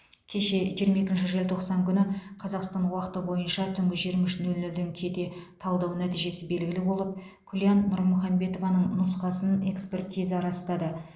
кеше жиырма екінші желтоқсан күні қазақстан уақыты бойынша түнгі жиырма үш нөл нөлден кете талдау нәтижесі белгілі болып күлян нұрмұхамбетованың нұсқасын экспертиза растады